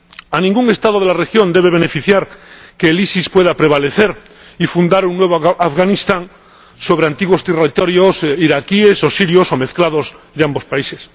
A ningún Estado de la región debe beneficiar que el EI pueda prevalecer y fundar un nuevo Afganistán sobre antiguos territorios iraquíes o sirios, o mezclados de ambos países.